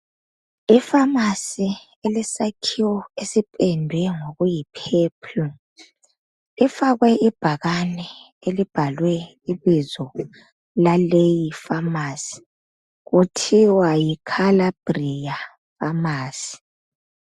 Ifamasi elesakhiwo esipendwe ngokuyiphephulu ifakwe ibhakani elibhalwe ibizo laleyi famasi kuthiwa yi khalabriya famasi .